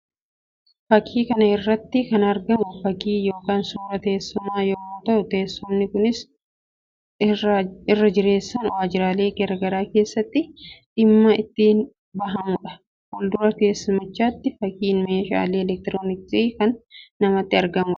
Fakkii kana irratti kan argamu fakkii yookiin suuraa teessumaa yammuu ta'u; teessumni kunis irra jireessan waajjiraalee garaa garii keessatti kan dhimma itti bahamuu dha. Fuuldura teessumichaattis fakkiin meeshaalee elektirooniksii kan namatti argamuu dha.